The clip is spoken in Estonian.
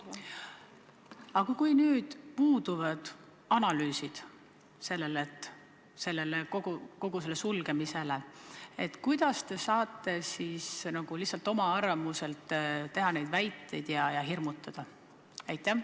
Aga kui puuduvad kogu võimaliku sulgemise analüüsid, kuidas te siis saate lihtsalt oma arvamuse alusel neid väiteid esitades inimesi hirmutada?